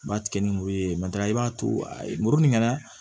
N b'a tigɛ ni muru ye i b'a to a murumi kɛ dɛ